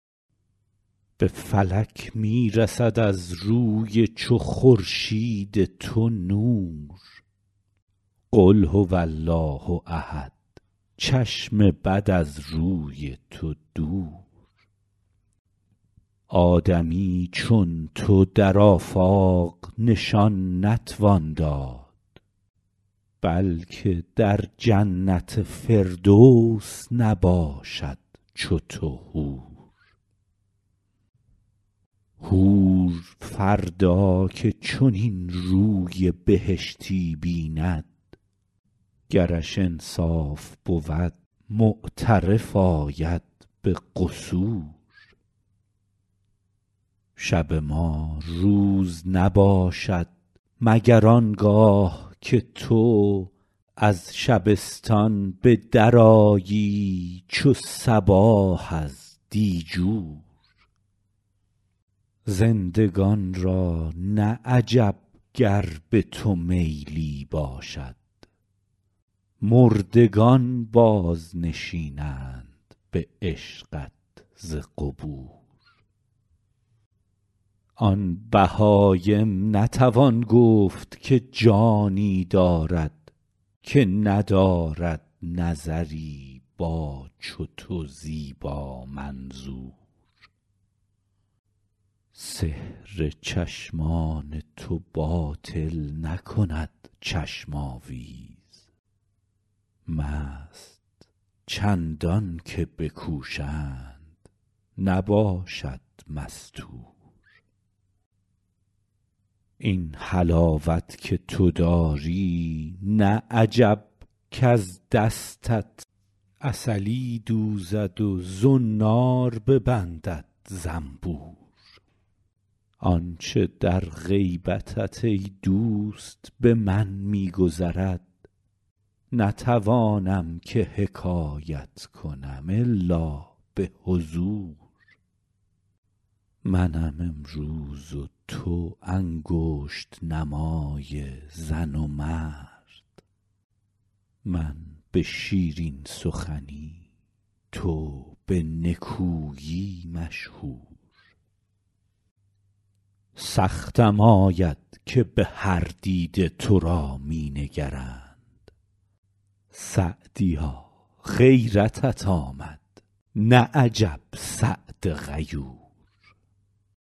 به فلک می رسد از روی چو خورشید تو نور قل هو الله احد چشم بد از روی تو دور آدمی چون تو در آفاق نشان نتوان داد بلکه در جنت فردوس نباشد چو تو حور حور فردا که چنین روی بهشتی بیند گرش انصاف بود معترف آید به قصور شب ما روز نباشد مگر آن گاه که تو از شبستان به درآیی چو صباح از دیجور زندگان را نه عجب گر به تو میلی باشد مردگان بازنشینند به عشقت ز قبور آن بهایم نتوان گفت که جانی دارد که ندارد نظری با چو تو زیبامنظور سحر چشمان تو باطل نکند چشم آویز مست چندان که بکوشند نباشد مستور این حلاوت که تو داری نه عجب کز دستت عسلی دوزد و زنار ببندد زنبور آن چه در غیبتت ای دوست به من می گذرد نتوانم که حکایت کنم الا به حضور منم امروز و تو انگشت نمای زن و مرد من به شیرین سخنی تو به نکویی مشهور سختم آید که به هر دیده تو را می نگرند سعدیا غیرتت آمد نه عجب سعد غیور